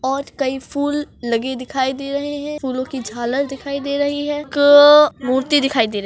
और कई फूल लगे दिखाई दे रहे है फूलोंकी झालर लगी दिखाई दे रही है क मूर्ति दिखाई दे रही--